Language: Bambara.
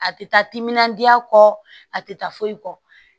A tɛ taa timinandiya kɔ a tɛ taa foyi kɔ